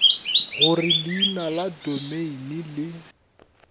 gore leina la domeine le